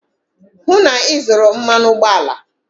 hụ na ị zụrụ mmanụ ụgbọala!